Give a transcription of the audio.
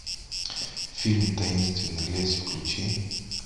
фильм таинственный лес включи